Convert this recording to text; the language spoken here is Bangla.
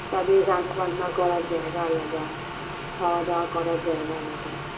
তাদের রান্না বান্না করার জায়গা আলাদা খাওয়া দাওয়া করার জায়গা আলাদা